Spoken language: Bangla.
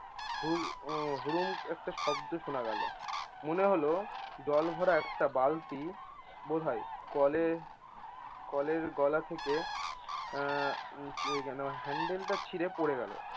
হুর উম হুরম একটা শব্দ শোনা গেলো। মনে হলো জল ভরা একটা বালতি বোধয় কলে~ কলের গলা থেকে আহ যে যেন হ্যান্ডেলটা ছিঁড়ে পড়ে গেল